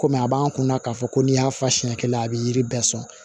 Komi a b'an kun na k'a fɔ ko n'i y'a faɲɛla a bi yiri bɛɛ sɔn